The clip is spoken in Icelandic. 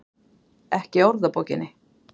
Ekki í orðabókinni.